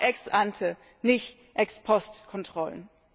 Wir brauchen Ex ante nicht Ex post Kontrollen.